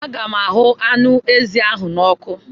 Aga m ahụ anụ ezi ahụ n'ọkụ.